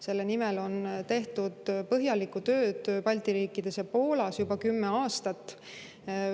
Selle nimel on tehtud põhjalikku tööd Balti riikides ja Poolas juba kümme aastat.